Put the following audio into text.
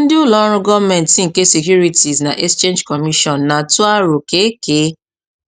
Ndị ụlọ ọrụ gọọmentị nke Securities na Exchange Commission na-atụ aro ka e kee